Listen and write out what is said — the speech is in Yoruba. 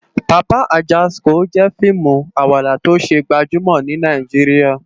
Papa Ajásikó jè fiimú àwádá tó sé gbàjúmò ni Nàijiriá